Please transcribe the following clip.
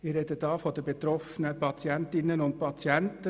Ich spreche hier von den betroffenen Patientinnen und Patienten.